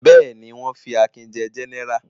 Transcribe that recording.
Bẹ́ẹ̀ ni, wọ́n fi Akin jẹ gẹ́nẹrà.